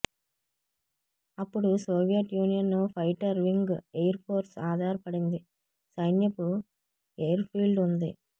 అప్పుడు Soviet Union fighter wing air force ఆధారపడింది సైన్యపు ఎయిర్ఫీల్డ్ ఉంది